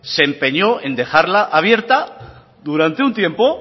se empeñó en dejarla abierta durante un tiempo